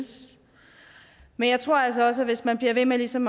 men jeg tror altså også at hvis man bliver ved med ligesom